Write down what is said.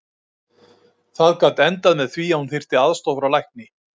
Það gat endað með því að hún þyrfti aðstoð frá lækni.